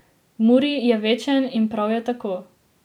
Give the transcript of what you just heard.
Muri je večen in prav je tako.